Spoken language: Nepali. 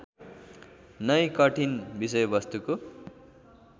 नै कठिन विषयवस्तुको